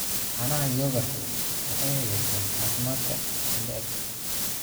Caanaha yoogurtu waxay hagaajiyaan caafimaadka mindhicirka.